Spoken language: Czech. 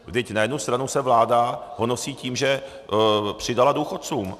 Vždyť na jednu stranu se vláda honosí tím, že přidala důchodcům.